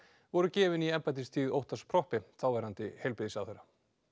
voru gefin í embættistíð Óttars Proppé þáverandi heilbrigðisráðherra